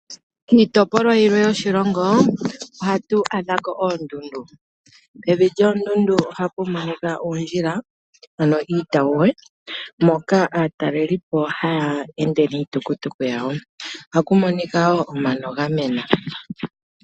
Kiitopolwa yilwe yoshilongo ohatu adha ko oondundu. Pevi lyoondundu ohaku monika uundjila ano iitawuwa moka aatalelipo haya ende niitukutuku yawo, ohaku monika wo omano ga mena.